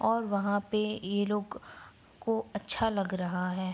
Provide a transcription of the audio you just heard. और वहाँ पे ये लोग को अच्छा लग रहा है।